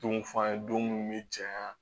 Don f'an ye don minnu mi janya